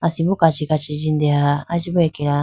asimbo kachi kachi jindeya aya chibu akeya.